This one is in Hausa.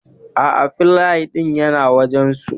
Aa, filay din yana wajan su